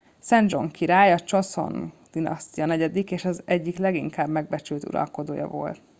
szedzsong király a csoszon dinasztia negyedik és az egyik leginkább megbecsült uralkodója volt